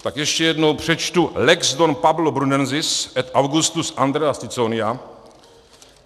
Tak ještě jednou přečtu: Lex Don Pablo Brunensis et Augustus Andreas Ciconia.